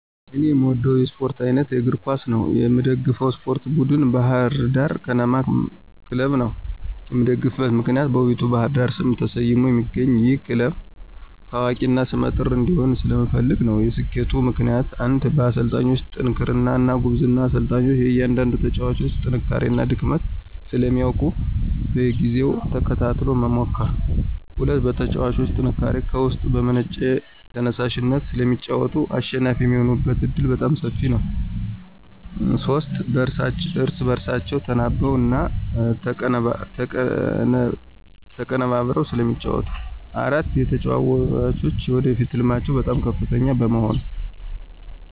እኔ የምወደው የስፓርት አይነት የእግር ኳስ ነው። የምደግፈውም የስፓርት ቡድን ባህር ዳር ከነማ ክለብን ነው። የምደግፍበት ምክንያት በውቢቷ ባህር ዳር ስም ተሰይሞ የሚገኘው ይህ ክለብ ታዋቂ እና ሰመ ጥር እንዲሆን ስለምፈልግ ነው። የሰኬቱ ምክንያቶች ፩) በአሰልጣኙ ጥንክርና እና ጉብዝና፦ አሰልጣኙ የእያንዳንዳቸውን የተጫዋጮች ጥንካሬ እና ድክመት ስለሚያውቅ በየጊዜው ተከታትሎ በመምከር። ፪) በተጫዋቾቹ ጥንካሬ፦ ከውስጥ በመነጨ ተየሳሽነት ስለሚጫወቱ አሸናፊ የሚሆኑበት ዕድል በጣም ሰፊ ነው። ፫) እርስ በእርሳቸው ተናበው እና ተቀነበብረው ስለሚጫወቱ። ፬) የተጫዋጮች የወደፊት ህልማቸው በጣም ከፍተኛ በመሆኑ።